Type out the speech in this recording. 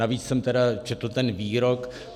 Navíc jsem tedy četl ten výrok.